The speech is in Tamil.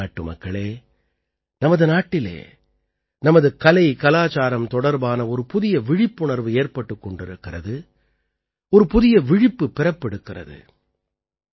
எனதருமை நாட்டுமக்களே நமது நாட்டிலே நமது கலைகலச்சாரம் தொடர்பான ஒரு புதிய விழிப்புணர்வு ஏற்பட்டுக் கொண்டிருக்கிறது ஒரு புதிய விழிப்பு பிறப்பெடுக்கிறது